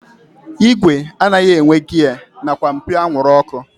Igwe anaghị enwe giya nakwa mpio anwụrụ ọkụ